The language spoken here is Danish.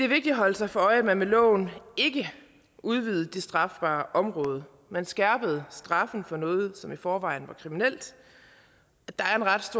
vigtigt at holde sig for øje at man med loven ikke udvidede det strafbare område man skærpede straffene for noget som i forvejen var kriminelt